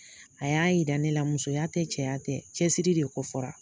A y'a jira ne la musoya tɛ cɛya tɛ cɛsiri de fɔra